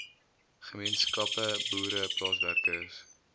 gemeenskappe boere plaaswerkers